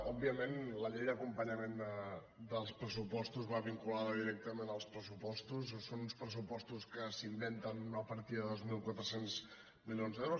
òbviament la llei d’acompanyament dels pressupostos va vinculada directament als pressupostos que són uns pressupostos que s’inventen una partida de dos mil quatre cents milions d’euros